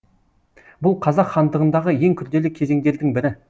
бұл қазақ хандығындағы ең күрделі кезеңдердің бірі